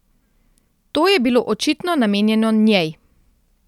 To je bilo očitno namenjeno njej.